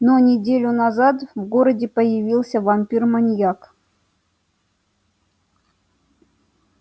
но неделю назад в городе появился вампир-маньяк